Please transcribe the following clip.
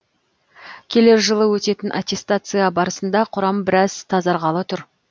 келер жылы өтетін аттестация барысында құрам біраз тазарғалы тұр